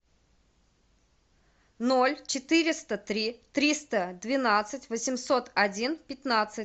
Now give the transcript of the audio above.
ноль четыреста три триста двенадцать восемьсот один пятнадцать